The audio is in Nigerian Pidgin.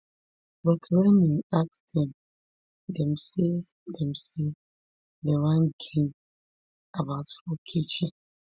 but wen im ask dem dem say dem say dem wan gain about fourkg